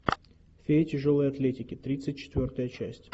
феи тяжелой атлетики тридцать четвертая часть